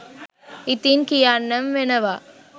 ඉතින් කියන්නම වෙනවා.